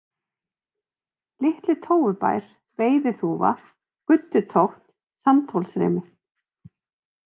Litli-Tófubær, Veiðiþúfa, Guddutótt, Sandhólsrimi